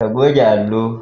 ka goge Allo